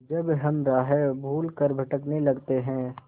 जब हम राह भूल कर भटकने लगते हैं